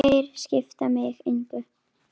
Þeir skipta mig engu.